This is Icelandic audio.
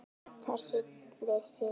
Þar við situr.